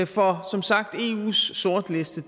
for som sagt eus sortliste